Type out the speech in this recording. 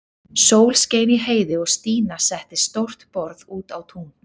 Sól skein í heiði og Stína setti stórt borð út á tún.